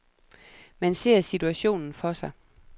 Man ser situationen for sig.